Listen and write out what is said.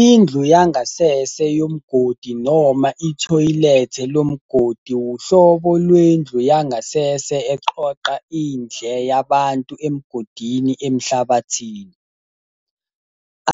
I-ndlu yangasese yomgodi noma ithoyilethe lomgodi wuhlobo lwendlu yangasese eqoqa indle yabantu emgodini emhlabathini.